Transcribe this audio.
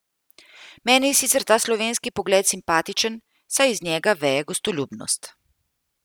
Meni je sicer ta slovenski pogled simpatičen, saj iz njega veje gostoljubnost.